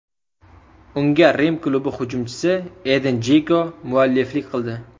Unga Rim klubi hujumchisi Edin Jeko mualliflik qildi.